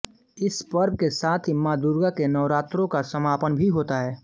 इस पर्व के साथ ही माँ दुर्गा के नवरात्रों का समापन भी होता है